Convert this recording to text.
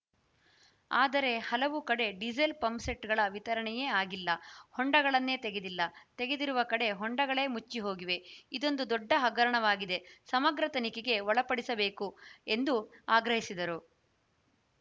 ಆದರೆ ಹಲವು ಕಡೆ ಡೀಸೆಲ್‌ ಪಂಪ್‌ಸೆಟ್‌ಗಳ ವಿತರಣೆಯೇ ಆಗಿಲ್ಲ ಹೊಂಡಗಳನ್ನೇ ತೆಗೆದಿಲ್ಲ ತೆಗೆದಿರುವ ಕಡೆ ಹೊಂಡಗಳೇ ಮುಚ್ಚಿಹೋಗಿವೆ ಇದೊಂದು ದೊಡ್ಡ ಹಗರಣವಾಗಿದೆ ಸಮಗ್ರ ತನಿಖೆಗೆ ಒಳಪಡಿಸಬೇಕು ಎಂದು ಆಗ್ರಹಿಸಿದರು